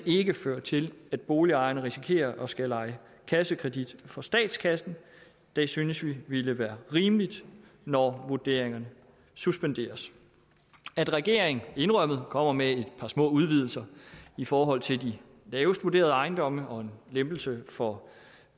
ikke fører til at boligejerne risikerer at skulle lege kassekredit for statskassen det synes vi ville være rimeligt når vurderingerne suspenderes at regeringen indrømmet kommer med et par små udvidelser i forhold til de lavest vurderede ejendomme og en lempelse for